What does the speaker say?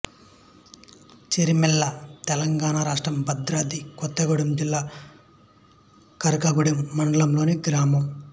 చిర్రమల్ల తెలంగాణ రాష్ట్రం భద్రాద్రి కొత్తగూడెం జిల్లా కరకగూడెం మండలంలోని గ్రామం